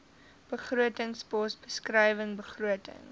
begrotingspos beskrywing begrotings